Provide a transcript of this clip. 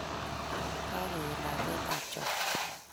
Kakoet lakwet ab Joan.